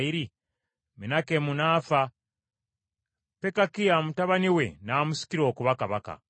Menakemu n’afa, Pekakiya mutabani we n’amusikira okuba kabaka.